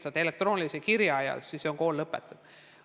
Saad elektroonilise kirja ja kool on lõpetatud?